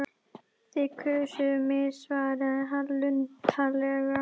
Þið kusuð mig svaraði hann luntalega.